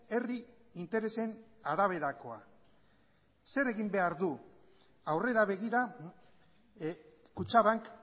herri interesen araberakoa zer egin behar du aurrera begira kutxabank